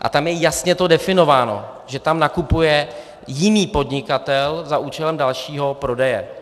A tam je to jasně definováno, že tam nakupuje jiný podnikatel za účelem dalšího prodeje.